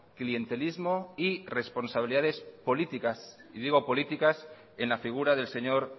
clientelismo y responsabilidades políticas y digo políticas en la figura del señor